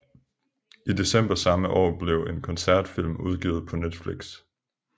I december samme år blev en koncertfilm udgivet på Netflix